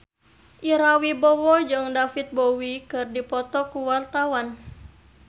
Ira Wibowo jeung David Bowie keur dipoto ku wartawan